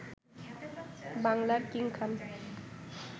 বাংলার কিং খান